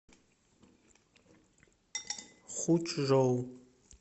хучжоу